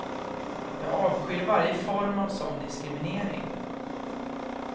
Jag avskyr varje form av sådan diskriminering.